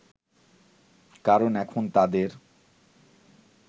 কারণ এখন তাদের